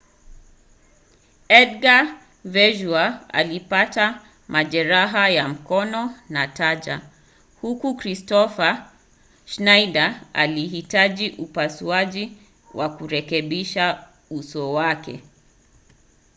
edgar veguilla alipata majeraha ya mkono na taya huku kristoffer schneider akihitaji upasuaji wa kurekebisha uso wake